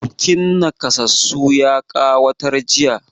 Bukin naƙasassu ya ƙawatar jiya.